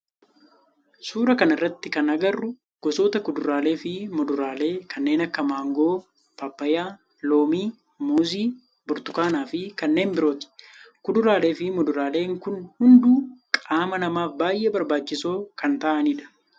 Suuraa kana irratti kan agarru gosoota kuduraalee fi muduraalee kanneen akka maangoo, paappayyaa, loomii, muuzii, burtukaanaa fi kanneen birooti. Kuduraalee fi muduraalee kun hunduu qaama namaaf baayyee barbaachisoo kan ta'aanidha.